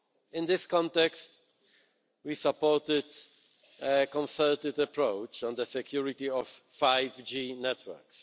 In this context, we supported a concerted approach on the security of 5G networks.